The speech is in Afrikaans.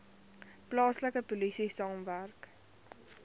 plaaslike polisie saamwerk